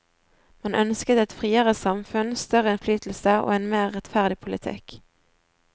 Man ønsket et friere samfunn, større innflytelse og en mer rettferdig politikk.